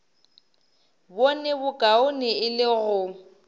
bone bokaone e le go